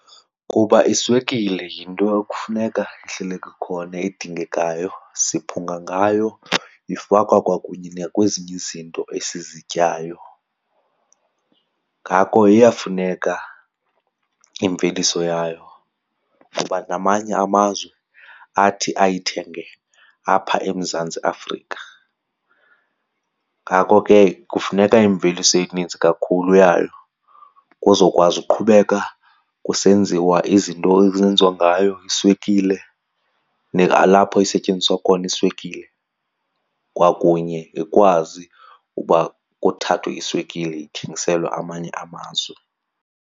Kuba iswekile yinto ekufuneka ihlele kukhona edingekayo, siphunga ngayo, ifakwa kwakunye nakwezinye izinto esizityayo. Ngako iyafuneka imveliso yayo kuba namanye amazwe athi ayithenge apha eMzantsi Afrika. Ngako ke kufuneka imveliso eninzi kakhulu yayo kuzokwazi uqhubeka kusenziwa izinto ezenziwa ngayo iswekile nalapho isetyenziswa khona iswekile kwakunye ikwazi uba kuthathwe iswekile ithengiselwe amanye amazwe.